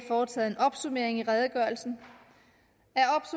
foretaget en opsummering i redegørelsen